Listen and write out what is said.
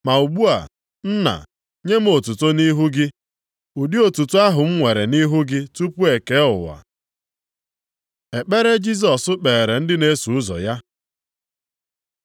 Ma ugbu a, Nna, nye m otuto nʼihu gị, ụdị otuto ahụ m nwere nʼihu gị tupu e kee ụwa. Ekpere Jisọs kpeere ndị na-eso ụzọ ya